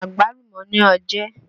Àgbálùmọ́ ní oje